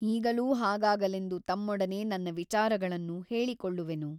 ಈಗಲೂ ಹಾಗಾಗಲೆಂದು ತಮ್ಮೊಡನೆ ನನ್ನ ವಿಚಾರಗಳನ್ನು ಹೇಳಿಕೊಳ್ಳುವೆನು.